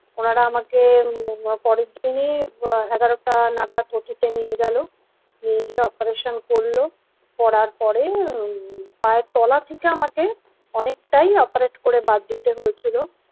ওনারা আমাকে পরের দিনই এগারোটা নাগাদ অটি তে নিয়ে গেলো নিয়ে গিয়ে অপারেশন করলো করার পরে পায়ের তলা থেকে আমাকে অনেকটাই অপারেট করে বাদ দিতে হয়েছিল।